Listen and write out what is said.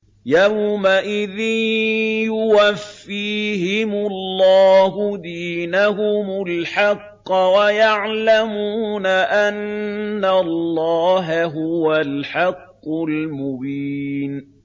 يَوْمَئِذٍ يُوَفِّيهِمُ اللَّهُ دِينَهُمُ الْحَقَّ وَيَعْلَمُونَ أَنَّ اللَّهَ هُوَ الْحَقُّ الْمُبِينُ